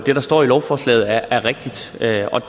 at